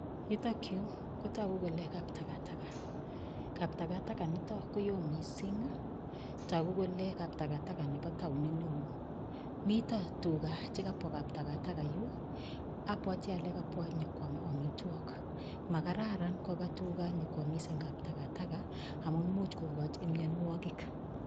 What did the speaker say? Yutokyu kotogu kole kaptagataga, kaptagataga nitok koo mising. Tagu kole kaptagataga nebo taonit neo. Mito tuga chekapwa kaptagataga abwati ale kapbwa nyokoam amitogik. Makararan kopa tuga yokoamis eng kaptagataga amun much kokoch mianwagik.